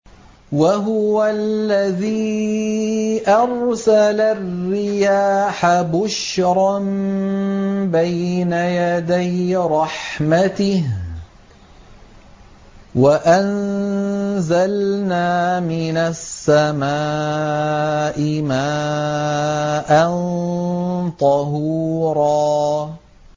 وَهُوَ الَّذِي أَرْسَلَ الرِّيَاحَ بُشْرًا بَيْنَ يَدَيْ رَحْمَتِهِ ۚ وَأَنزَلْنَا مِنَ السَّمَاءِ مَاءً طَهُورًا